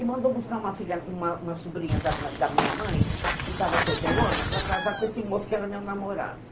E mandou buscar uma filha, uma uma sobrinha da da minha mãe, que estava solteirona, para casar com esse moço que era meu namorado.